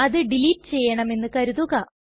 അത് ഡിലീറ്റ് ചെയ്യണമെന്നു കരുതുക